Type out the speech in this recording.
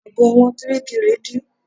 Àbò ẹ̀wọ̀n kíríkirì dí.